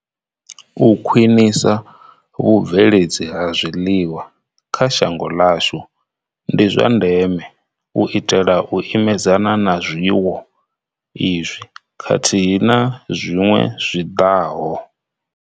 U khwinisa vhu bveledzi ha zwiḽiwa kha shango ḽashu ndi zwa ndeme u itela u imedzana na zwiwo izwi khathihi na zwiṅwe zwi ḓaho.